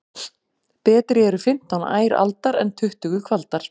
Betri eru fimmtán ær aldar en tuttugu kvaldar.